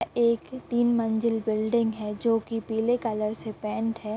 एक तीन मंजिल बिल्डिंग है जो की पीले कलर से पैंट हैं।